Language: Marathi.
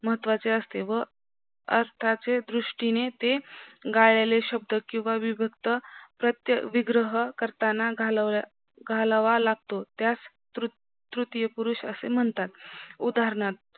महत्वाचे असते व अर्थाच्या दृष्टीने ते गाळलेले शब्द किव्हा विभक्त प्रत्यय विग्रह करताना घालावा लागतो त्यास तृतीय पुरुष असे म्हणतात उदानहार्थ